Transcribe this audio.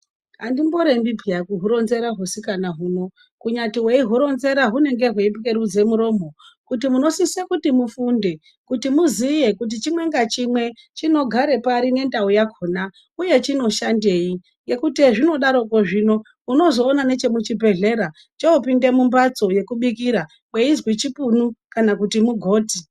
Andimbo rembi peya kuhu ronzera hu sikana huno kunyati hwei huronzera hunenge hwei pwerudze muromo kuti muno sise kuti mufunde kuti muziye kuti chimwe nga chimwe chino gare pari ne ndau yakona uye chino shandei ngekuti hezvino daroko zvino unozo ona neche muchi bhedhlera chopinda mu mbatso yeku bikira kweizwi chipunu kana kuti mugoti.